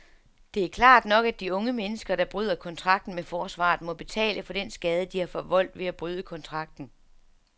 Det er klart nok, at de unge mennesker, der bryder kontrakten med forsvaret, må betale for den skade, de har forvoldt ved at bryde kontrakten.